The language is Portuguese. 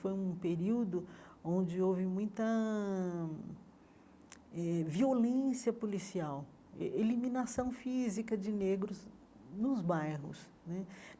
Foi um período onde houve muita eh violência policial, eh eliminação física de negros nos bairros né.